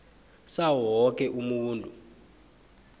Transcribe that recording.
sawo woke umuntu